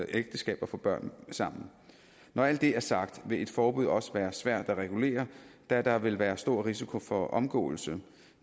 ægteskab og få børn sammen når alt det er sagt vil et forbud også være svært at regulere da der vil være en stor risiko for omgåelse